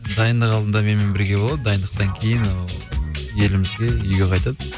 дайындық алдында менімен бірге болады дайындықтан кейін ы елімізге үйге қайтады